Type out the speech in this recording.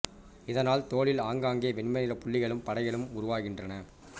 இதனால் தோலில் ஆங்காங்கே வெண்மை நிற புள்ளிகளும் படைகளும் உருவாகின்றன